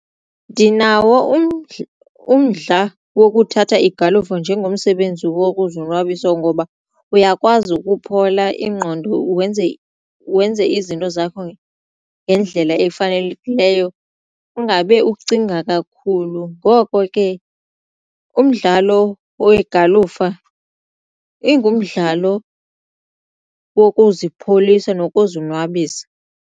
Ndinawo umdla wokuthatha igalufa njengomsebenzi wokuzonwabisa ngoba uyakwazi ukuphola ingqondo wenze izinto zakho ngendlela efanelekileyo ungabe ucinga kakhulu ngoko ke umdlalo wegalufa ingumdlalo wokuzipholisa nokuzonwabisa.